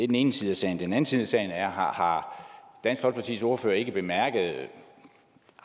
den ene side af sagen den anden side af sagen er har dansk folkepartis ordfører ikke bemærket det